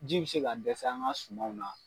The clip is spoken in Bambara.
Ji bi se ka dɛsɛ an ka sumanw na.